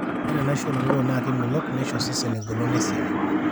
ore enaisho oolotorok naa kemelok neisho osesen eng'olon esiai